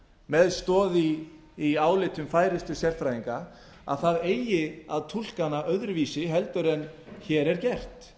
með stoð í álitum færustu sérfræðinga að það eigi að túlka hana öðruvísi en hér er gert